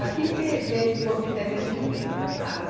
Aqui fez fez Poço Estesiano, mas não tem que beber a água.